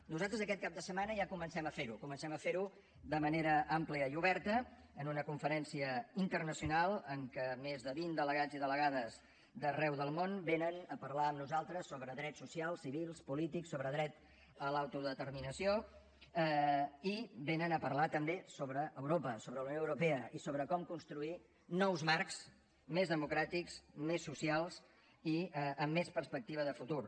nosaltres aquest cap de setmana ja comencem a fer ho comencem a fer ho de manera àmplia i oberta en una conferència internacional en què més de vint delegats i delegades d’arreu del món venen a parlar amb nosaltres sobre drets socials civils polítics sobre dret a l’autodeterminació i venen a parlar també sobre europa sobre la unió europea i sobre com construir nous marcs més democràtics més socials i amb més perspectiva de futur